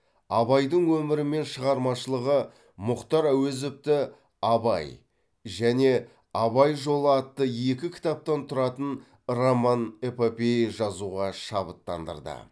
абайдың өмірі мен шығармашылығы мұхтар әуезовті абай және абай жолы атты екі кітаптан тұратын роман эпопея жазуға шабыттандырды